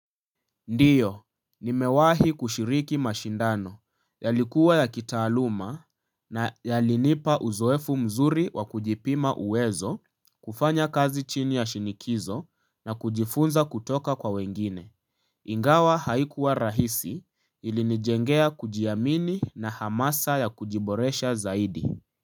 Ndiyo, nimewahi kushiriki mashindano, yalikuwa ya kitaaluma na yalinipa uzoefu mzuri wa kujipima uwezo, kufanya kazi chini ya shinikizo na kujifunza kutoka kwa wengine. Ingawa haikuwa rahisi ilinijengea kujiamini na hamasa ya kujiboresha zaidi.